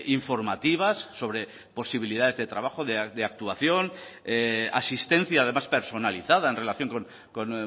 informativas sobre posibilidades de trabajo de actuación asistencia además personalizada en relación con